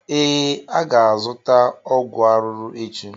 Ee, aga azụta ọgwụ arụrụ echi